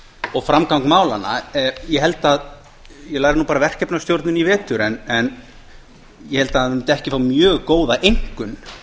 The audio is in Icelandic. og framgang málanna ég lærði bara verkefnisstjórn í vetur en ég held að hann mundi ekki fá mjög góða einkunn